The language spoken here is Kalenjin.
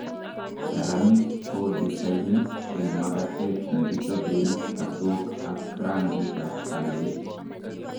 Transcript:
Saremik ko desainit eng' makatet nekichoben katook ak rangik ab kalait